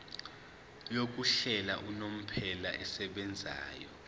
yokuhlala unomphela esebenzayo